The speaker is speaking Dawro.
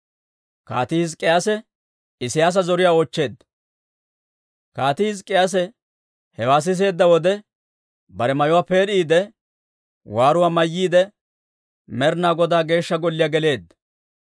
Kaatii Hizk'k'iyaase hewaa siseedda wode, bare mayuwaa peed'iide waaruwaa mayyiide, Med'ina Godaa Geeshsha Golliyaa geleedda.